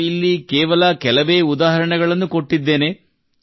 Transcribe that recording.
ನಾನು ಇಲ್ಲಿ ಕೇವಲ ಕೆಲವೇ ಉದಾಹರಣೆಗಳನ್ನು ಕೊಟ್ಟಿದ್ದೇನೆ